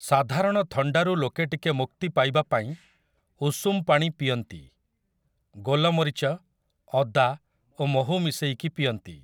ସାଧାରଣ ଥଣ୍ଡାରୁ ଲୋକ ଟିକେ ମୁକ୍ତି ପାଇବାପାଇଁ ଉଷୁମ ପାଣି ପିଅନ୍ତି । ଗୋଲମରୀଚ, ଅଦା ଓ ମହୁ ମିଶେଇକି ପିଅନ୍ତି ।